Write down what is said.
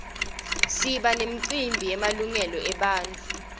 siba nemicimbi yemalungelo ebantfu